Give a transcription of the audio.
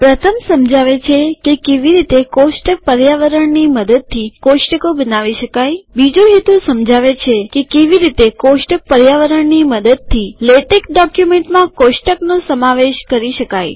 પ્રથમ સમજાવે છે કેવી રીતે કોષ્ટક પર્યાવરણની મદદથી કોષ્ટકો બનાવી શકાય બીજો હેતુ સમજાવે છે કેવી રીતે કોષ્ટક પર્યાવરણની મદદથી લેટેક ડોક્યુમેન્ટ્સમાં કોષ્ટક નો સમાવેશ કરી શકાય